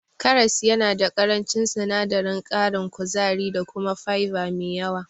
Karas yana da ƙarancin sinadarin ƙarin kuzari da kuma fiber me yawa.